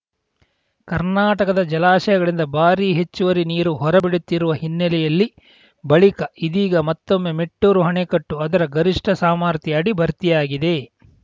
ಕರ್ನಾಟಕದ ಜಲಾಶಯಗಳಿಂದ ಭಾರಿ ಹೆಚ್ಚುವರಿ ನೀರು ಹೊರಬಿಡುತ್ತಿರುವ ಹಿನ್ನೆಲೆಯಲ್ಲಿ ಬಳಿಕ ಇದೀಗ ಮತ್ತೊಮ್ಮೆ ಮೆಟ್ಟೂರು ಅಣೆಕಟ್ಟು ಅದರ ಗರಿಷ್ಠ ಸಾಮರ್ಥ್ಯ ಅಡಿ ಭರ್ತಿಯಾಗಿದೆ